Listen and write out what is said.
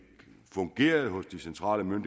fungerede hos de centrale